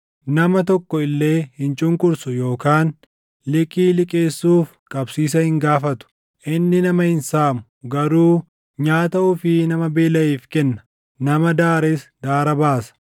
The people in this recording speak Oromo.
Nama tokko illee hin cunqursu yookaan liqii liqeessuuf qabsiisa hin gaafatu. Inni nama hin saamu; garuu nyaata ofii nama beelaʼeef kenna; nama daares daara baasa.